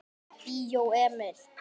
Bíó Emil.